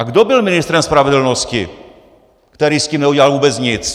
A kdo byl ministrem spravedlnosti, který s tím neudělal vůbec nic?